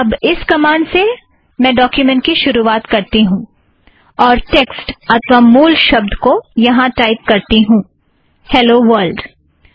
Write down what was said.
अब इस आदेश से मैं डोक्युमेंट की शुरुवात करती हूँऔर टेक्स्ट अथ्वा मूल पाठ को टाइप करती हूँ - हेलो वर्लड